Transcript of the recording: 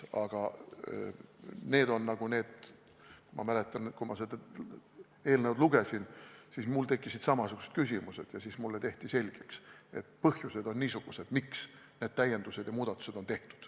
Aga ma mäletan, et kui ma seda eelnõu lugesin, siis mul tekkisid samasugused küsimused ja mulle tehti selgeks, et niisugused on põhjused, miks need täiendused ja muudatused on tehtud.